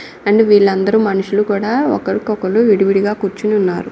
And వీళ్ళందరూ మనుషులు కూడా ఒకరికొకళ్లు విడివిడిగా కూర్చుని ఉన్నారు.